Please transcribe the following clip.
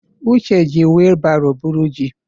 Uche jí wilbaro buru jì.